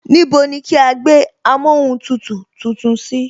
Níbo ni kí á gbé amóhuntutù tuntun sí